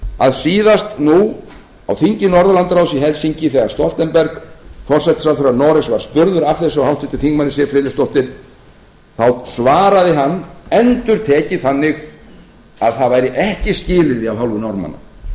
að síðast nú á þingi norðurlandaráðs í helsinki þegar stoltenberg forsætisráðherra noregs var spurður að þessu af háttvirtur þingmaður siv friðleifsdóttur þá svaraði hann endurtekið þannig að það væri ekki skilyrði af hálfu norðmanna